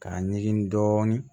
K'a ɲigin dɔɔnin